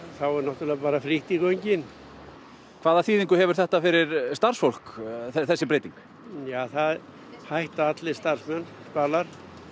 þá er náttúrulega bara frítt í göngin hvaða þýðingu hefur það fyrir starfsfólk það hætta allir starfsmenn Spalar